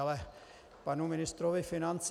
K panu ministrovi financí.